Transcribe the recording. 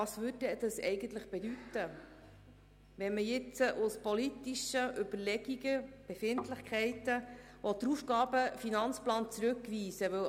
Was würde das eigentlich bedeuten, wenn man aus politischen Überlegungen und Befindlichkeiten den AFP zurückweisen würde?